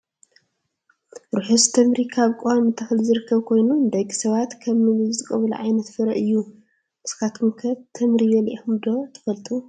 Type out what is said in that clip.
ርሑስ ተምሪ ካብ ቆዋሚ ተክሊ ዝርከብ ኮይኑ ንደቂ ሰባት ከም ምግቢ ዝጥቀሙሉ ዓይነት ፍረ እዩ። ንሱኩም ከ ተምሪ በሊዒኩም ትፈልጡ ዶ ?